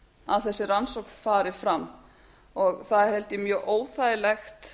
að þessi rannsókn fari fram það er held ég mjög óþægilegt